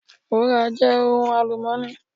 Wúrà jẹ́ ohun àlùmọ́ọ́nì.